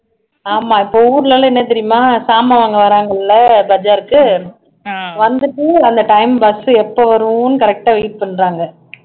ஆமா இப்போ ஊர்ல எல்லாம் என்ன தெரியுமா சாமாண் வாங்க வர்றாங்கல்ல பஜார்க்கு வந்துட்டு அந்த time bus எப்போ வரும்னு correct ஆ wait பண்றாங்க